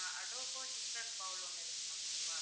adobo chicken bowl ஒன்னு இருக்கு ma'am okay வா